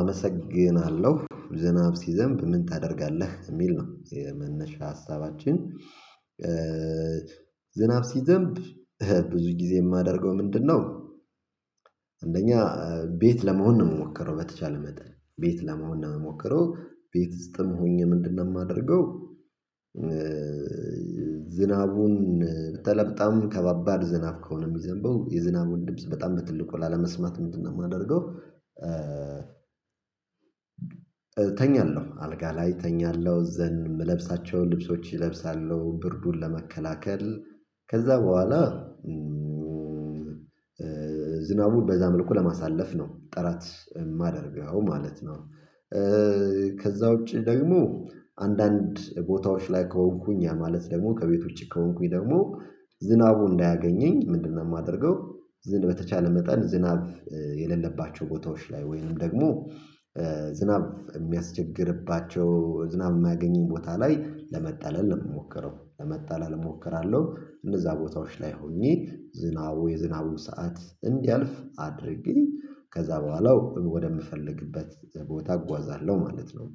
አመሰግናለሁ ዝናብ ሲዘንብ ምን ታደርጋለህ የሚል ነው የመነሻ ሀሳባችን? ዝናብ ሲዘንብ ብዙ ጊዜ የማደርገው ምንድነው? አንደኛ ቤት ለመሆን ነው የምሞከረው በተቻለ መጠን ቤት ለመሆን ነው ሞክሮ ቤት ስጥም ሆኜ ምንድነው የማደርገው? ዝናቡን በተለይ በጣም ከባባድ ዝናብ ከሆነ የሚዘንበው የዝናብ ውድብስ በጣም ትልቁ ላለመስማት ምንድነው የማደርገው? እተኛለሁ አልጋ ላይ ተኛለሁ ዘንድ የምለብሳቸውን ልብሶች ይለብሳሉ ብርዱን ለመከላከል ከዛ በኋላ ዝናቡን በዛ መልኩ ለማሳለፍ ነው ጥራት የማደርገው ማለት ነው። ከዛ ውጪ ደግሞ አንዳንድ ቦታዎች ላይ ከሆንኩኝ ያ ማለት ደግሞ ከቤት ውጭ ከሆንኩኝ ደግሞ ዝናቡ እንዳያገኘኝ ምንድነው የማደርገው? ዝን በተቻለ መጠን ዝናብ የሌለባቸው ቦታዎች ላይ ወይንም ደግሞ ዝናብ የሚያስቸግርባቸው ዝናብ የማያገኘኝ ቦታ ላይ ለመጣለል እሞክራለሁ ለመጣለል እሞክራለሁ እንደዛ ቦታዎች ላይ ሆኜ ዝናቡ የዝናቡን ሰዓት እንዲያልፍ አድርጊ ከዛ በኋላው ወደምፈልግበት ቦታ እጓዛለሁ ማለት ነው።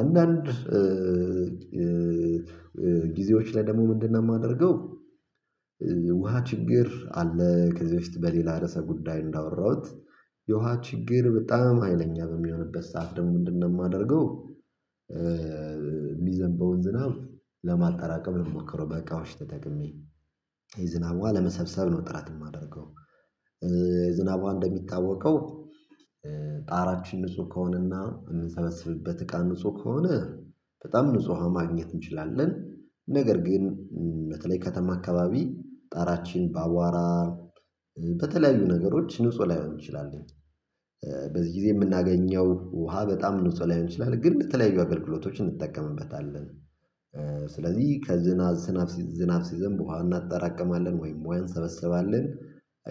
አንዳንድ ጊዜዎች ላይ ደግሞ ምንድነው የማደርገው? ውሃ ችግር አለ ከዚህ በፊት በሌላ ርዕሰ ጉዳይ እንዳወራሁት የውሃ ችግር በጣም ሀይለኛ በሚሆንበት ሰዓት ደግሞ ምንድነው የማደርገው? የሚዘንበውን ዝናብ ለማጠራቀም ለሞከረው በቃውሽ ተጠቅሜ ዝናብ ውሃ ለመሰብሰብ ነው ጥራት የማደርገው ዝናቧ እንደሚታወቀው ጣራችን ንጹህ ከሆነና እንሰበስብበት እቃ ንጹህ ከሆነ በጣም ንጹሃ ማግኘት እንችላለን። ነገር ግን በተለይ ከተማ አካባቢ ጣራችን ባቧራ በተለያዩ ነገሮች ንጹህ ላይሆን ይችላል። ትችላለህ በዚህ ጊዜ የምናገኘው ውሃ በጣም ንጹህ ላይሆን ትችላለህ ግን በተለያዩ አገልግሎቶች እንጠቀምበታለን። ስለዚህ ከዝናብ ዝናብ ዝናብ ሲዘንብ ውሃ እናጠራቅማለን ወይም ውሃ እንሰበስባለን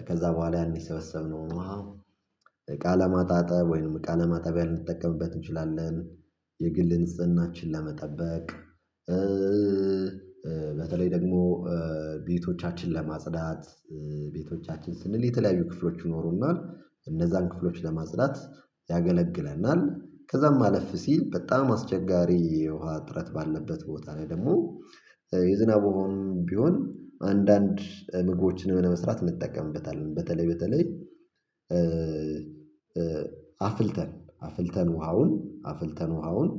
ከዛ በኋላ ያን ሰበሰብነው ውሃ እቃ ለማጣጠብ ወይንም እቃ ለማጣቢያ ልንጠቀምበት እንችላለን። የግል ንጽህናችን ለመጠበቅ በተለይ ደግሞ ቤቶቻችን ለማጽዳት ቤቶቻችን ስንል የተለያዩ ክፍሎች ይኖሩናል እነዛን ክፍሎች ለማጽዳት ያገለግለናል። ከዛም ማለፍ ሲል በጣም አስቸጋሪ የውሃ ጥረት ባለበት ቦታ ላይ ደግሞ የዝናብ ቢሆን ቢሆን አንዳንድ ምግቦችን ለመስራት እንጠቀምበታል በተለይ በተለይ አፍልተን አፍልተን ውሃውን አፍልተን ውሃውን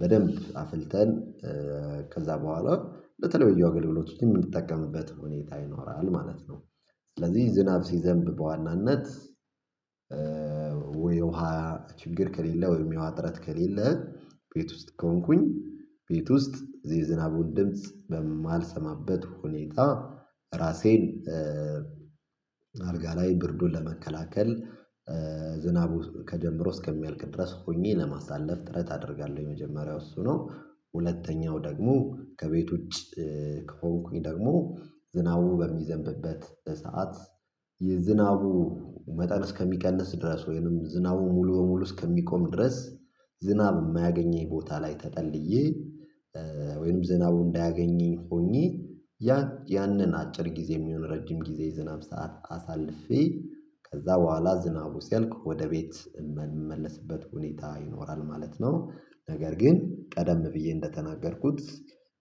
በደንብ አፍልተን ከዛ በኋላ በተለይ በየውገለሎቱ የምንጠቀምበት ሁኔታ ይኖራል ማለት ነው። ስለዚህ ዝናብ ሲዘንብ በዋናነት ነት ወይ ውሃ ችግር ከሌለ ወይ የሚያውሃት ጥረት ከሌለ ቤት ውስጥ ከሆንኩኝ ቤት ውስጥ እዚህ የዝናቡን ድምጽ በማልሰማበት ሁኔታ። ራሴን አልጋ ላይ ብርዱን ለመከላከል ዝናቡ ከጀምሮ እስከሚያልቅ ድረስ ሆኜ ለማሳለፍ ጥረት አደርጋለሁ የመጀመሪያው እሱ ነው። ሁለተኛው ደግሞ ከቤት ውጪ ከሆንኩኝ ደግሞ ዝናቡ በሚዘንብበት ሰዓት የዝናቡ መጠን እስከሚቀንስ ድረስ ወይንም ዝናቡ ሙሉ ሙሉ እስከሚቆም ድረስ ዝናብ የማያገኘኝ ቦታ ላይ ተጠልዬ ወይንም ዝናቡ እንዳያገኘኝ ሆኜ ያ ያንን አጭር ጊዜ የሚሆን ረጅም ጊዜ ዝናብ ሰዓት አሳልፌ ከዛ በኋላ ዝናቡ ሲያልቅ ወደ ቤት የምንመለስበት ሁኔታ ይኖራል ማለት ነው። ነገር ግን ቀደም ብዬ እንደተናገርኩት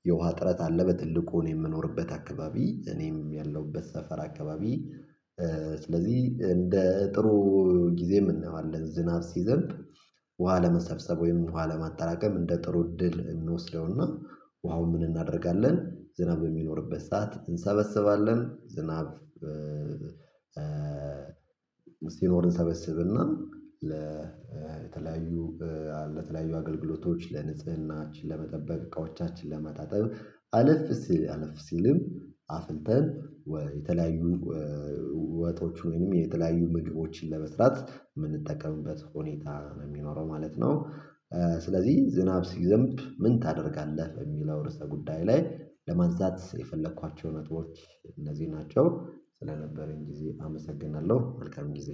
የውሃ ጥረት አለ በትልቁ የምኖርበት አካባቢ እኔም ያለሁበት ሰፈር አካባቢ ስለዚህ እንደ ጥሩ ጊዜ የምንለው ዝናብ ሲዘንብ። ውሃ ለመሰብሰብ ወይም ኋለማጠራቀም እንደ ጥሩ እድል እንወስደውና ውሃው ምን እናደርጋለን? ዝናብ በሚኖርበት ሰዓት እንሰበስባለን ዝናብ። እስቲ ሲኖር እንሰበስብና ለተለያዩ ለተለያዩ አገልግሎቶች ለንጽህናችን ለመጠበቅ እቃዎቻችን ለማጣጠብ አለፍ ሲል አለፍ ሲልም አፍልተን የተለያዩ ወጦች ወይንም የተለያዩ ምግቦችን ለመስራት የምንጠቀምበት ሁኔታ ነው የሚኖረው ማለት ነው። ስለዚህ ዝናብ ሲዘንብ ምን ታደርጋለህ የሚለው ርዕሰ ጉዳይ ላይ ለማንሳት የፈለኳቸው ነጥቦች። እንደዚህ ናቸው ስለነበረኝ ጊዜ አመሰግናለሁ መልካም ጊዜ።